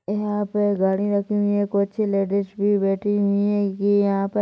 यहाँ पे गाड़ी रखी हुई है कुछ लेडीज़ भी बैठी हुई है ये यहाँ पर--